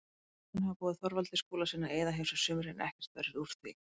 Hjónin hafa boðið Þorvaldi Skúlasyni að eyða hjá sér sumri en ekkert verður úr því.